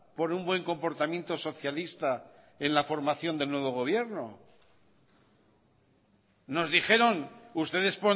por un buen comportamiento socialista en la formación del nuevo gobierno nos dijeron ustedes